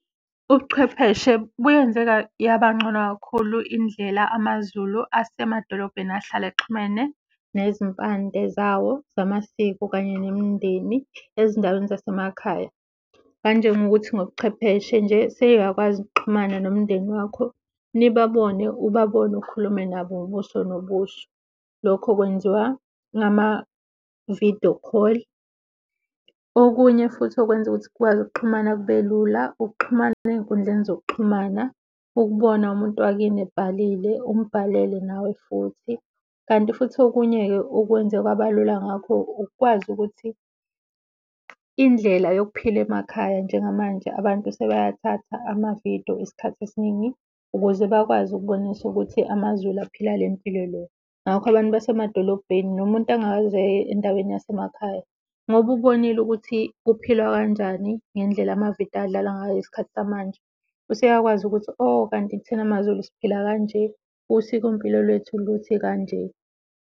Ubuchwepheshe buyenze yabancono kakhulu indlela amaZulu esemadolobheni ahlale exhumene nezimpande zawo zamasiko kanye nemindeni ezindaweni zasemakhaya. Kanjengokuthi ngobuchwepheshe nje seyiyakwazi ukuxhumana nomndeni wakho nibabone ubabone, ukhulume nabo ubuso nobuso. Lokho kwenziwa ngama-vidiyo call. Okunye futhi okwenza ukuthi kukwazi ukuxhumana kubelula ukuxhumana ezinkundleni zokuxhumana. Ukubona umuntu wakini ebhalile, umbhalele nawe futhi. Kanti futhi okunye-ke okwenze kwabalula ngakho ukwazi ukuthi indlela yokuphila emakhaya njengamanje abantu sebeyathatha amavidiyo isikhathi esiningi ukuze bakwazi ukubonisa ukuthi amaZulu aphila impilo le. Ngakho abantu basemadolobheni nomuntu engakaze endaweni yasemakhaya ngoba ubonile ukuthi kuphilwa kanjani ngendlela amavidiyo adlalwa ngayo ngesikhathi samanje useyakwazi ukuthi kanti thina maZulu siphila kanje, usikompilo lwethu luthi kanje.